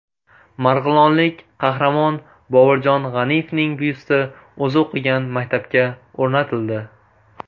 Marg‘ilonlik qahramon Boburjon G‘aniyevning byusti o‘zi o‘qigan maktabga o‘rnatildi.